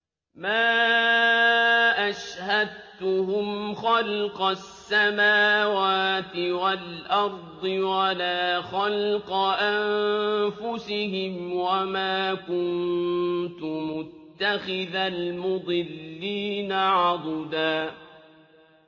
۞ مَّا أَشْهَدتُّهُمْ خَلْقَ السَّمَاوَاتِ وَالْأَرْضِ وَلَا خَلْقَ أَنفُسِهِمْ وَمَا كُنتُ مُتَّخِذَ الْمُضِلِّينَ عَضُدًا